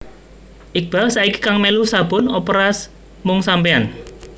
Iqbaal saiki kang melu sabun operas Mung Sampeyan